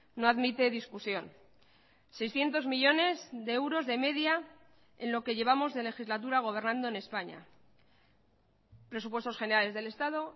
no admite discusión seiscientos millónes de euros de media en lo que llevamos de legislatura gobernando en españa presupuestos generales del estado